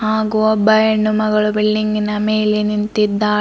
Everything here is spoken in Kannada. ಹಾಗು ಒಬ್ಬ ಹೆಣ್ಣುಮಗಳು ಬಿಲ್ಡಿಂಗಿನ ಮೇಲೆ ನಿಂತಿದ್ದಾಳೆ.